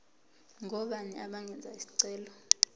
ngobani abangenza isicelo